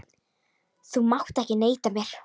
Þú mátt ekki neita mér.